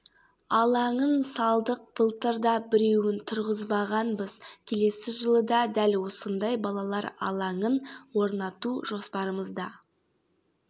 алаңын салдық былтыр да біреуін тұрғызғанбыз келесі жылы да дәл осындай балалар алаңын орнату жоспарымызда